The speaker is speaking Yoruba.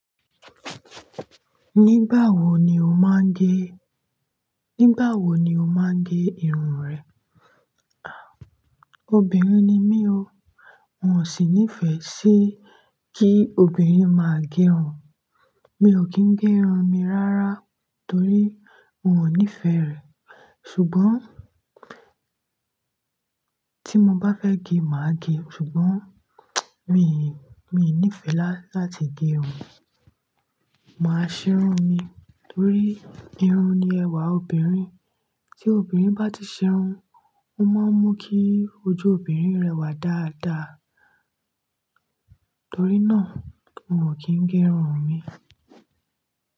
Nígbà wo ni o máa ń gé, nígbà wo ni o máa ń gé irun rẹ? Ah! Obìnrin ni mí o, n ò sì nífẹ̀ẹ́ sí kí obìnrin máa gé run. Mi o kì í gé irun mi rárá torí un ò nífẹ̀ẹ́ rẹ̀. Ṣùgbọ́n, tí mo bá fẹ́ gé, màá gé. Ṣùgbọ́n, mí, mi ò nífẹ̀ẹ́ láti gé irun. Màá ṣe irun mi torí irun ni ẹwà obìnrin. Tí obìnrin bá ti ṣerun, ó máa ń mú kí ojú obìnrin rẹwà dáadáa. Torí náà, mi ò kì í gé irun mi.